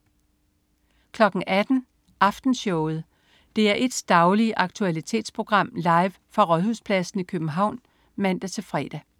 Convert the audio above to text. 18.00 Aftenshowet. DR1's daglige aktualitetsprogram, live fra Rådhuspladsen i København (man-fre)